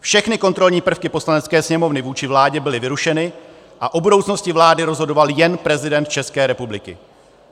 Všechny kontrolní prvky Poslanecké sněmovny vůči vládě byly vyrušeny a o budoucnosti vlády rozhodoval jen prezident České republiky.